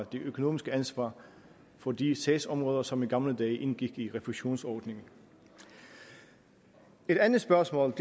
det økonomiske ansvar for de sagsområder som i gamle dage indgik i refusionsordningen et andet spørgsmål